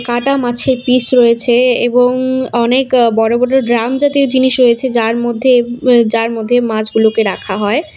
কাটা মাছের পিস রয়েছে এবং অনেক বড়ো বড়ো ড্রাম জাতীয় জিনিস রয়েছে যার মধ্যে এ যার মধ্যে মাছগুলোকে রাখা হয়।